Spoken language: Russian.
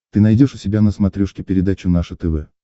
ты найдешь у себя на смотрешке передачу наше тв